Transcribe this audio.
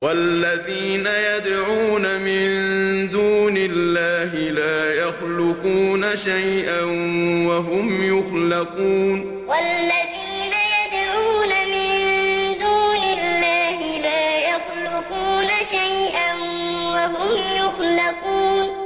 وَالَّذِينَ يَدْعُونَ مِن دُونِ اللَّهِ لَا يَخْلُقُونَ شَيْئًا وَهُمْ يُخْلَقُونَ وَالَّذِينَ يَدْعُونَ مِن دُونِ اللَّهِ لَا يَخْلُقُونَ شَيْئًا وَهُمْ يُخْلَقُونَ